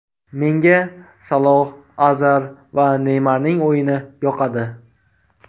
Menga Saloh, Azar va Neymarning o‘yini yoqadi.